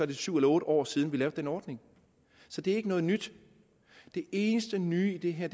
det syv eller otte år siden vi lavede den ordning så det er ikke noget nyt det eneste nye i det her